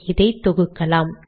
இதை தொகுக்கலாம்